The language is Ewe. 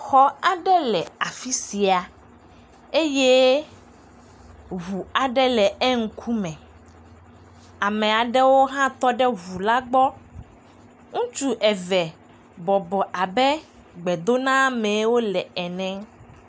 Ŋutsu aɖewo kple nyɔnu aɖewo tɔ ɖe eŋu ɖe gbe le aƒe aɖe me. Aƒea ƒe gliwo wɔ abe mede ama nɛ haɖeke o. Ŋu ɖeka hã gale ŋgɔgbe na wo eye wole nya aɖe gblɔm na wo nɔnɔewo.